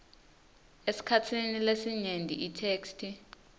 esikhatsini lesinyenti itheksthi